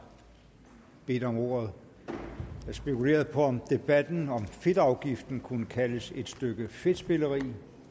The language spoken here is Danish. bedt om ordet jeg spekulerede på om debatten om fedtafgiften kunne kaldes et stykke fedtspilleri